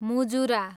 मुजुरा